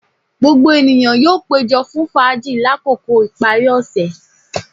Gbogbo eniyan yoo pejo fun faaji lakoko ipari ose